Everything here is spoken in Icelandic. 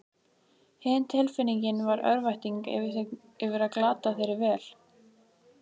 Hin tilfinningin var örvæntingin yfir að glata þeirri vel